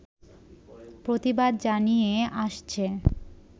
প্রতিবাদ জানিয়ে আসছে